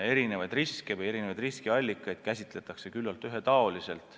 Erinevaid riske ja riskiallikaid käsitletakse küllalt ühetaoliselt.